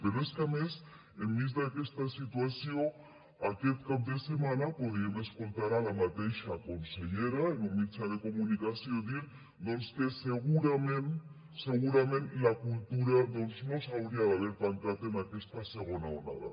però és que a més enmig d’aquesta situació aquest cap de setmana podíem escoltar la mateixa consellera en un mitjà de comunicació dir que segurament segurament la cultura doncs no s’hauria d’haver tancat en aquesta segona onada